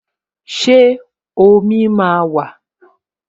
Ṣé omi máa wà?